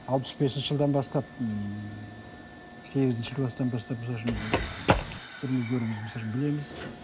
алпыс бесінші жылдан бастап ммм сегізінші класстан бастап бірімізді біріміз білеміз